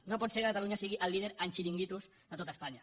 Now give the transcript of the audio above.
no pot ser que catalunya sigui el líder en xiringuitos de tot espanya